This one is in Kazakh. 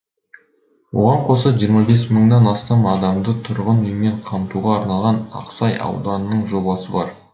оған қоса жиырма бес мыңнан астам адамды тұрғын үймен қамтуға арналған ақсай ауданының жобасы бар